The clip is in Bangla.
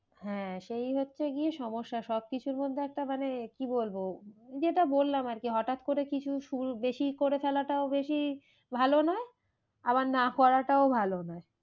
হ্যাঁ সেই হচ্ছে গিয়ে সমস্যা সব কিছুর মধ্যে একটা মানে কি বলবো যেটা বললাম আর কি হঠাৎ করে কিছু বেশি করে ফেলাটাও বেশি ভালো নয়। আবার না করাটাও ভালো নয়